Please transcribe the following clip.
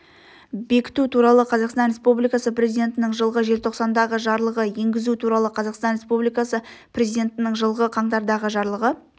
бекіту туралы қазақстан республикасы президентінің жылғы желтоқсандағы жарлығы енгізу туралы қазақстан республикасы президентінің жылғы қаңтардағы жарлығы